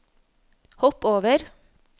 hopp over